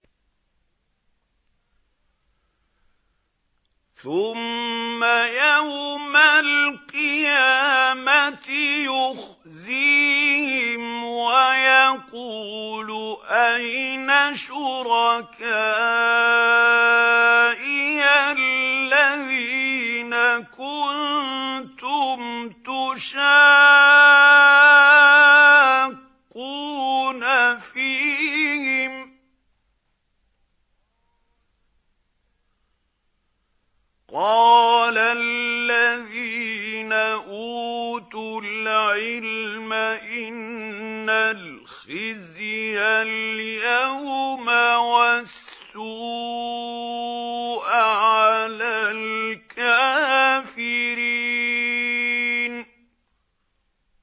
ثُمَّ يَوْمَ الْقِيَامَةِ يُخْزِيهِمْ وَيَقُولُ أَيْنَ شُرَكَائِيَ الَّذِينَ كُنتُمْ تُشَاقُّونَ فِيهِمْ ۚ قَالَ الَّذِينَ أُوتُوا الْعِلْمَ إِنَّ الْخِزْيَ الْيَوْمَ وَالسُّوءَ عَلَى الْكَافِرِينَ